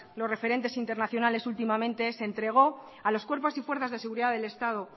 los referentes internacionales últimamente se entregó a los cuerpos y fuerzas de seguridad del estado